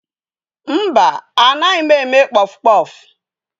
Mba, anaghị m eme kpọfụ kpọfụ.